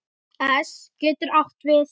es getur átt við